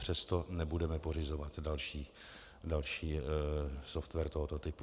Přesto nebudeme pořizovat další software tohoto typu.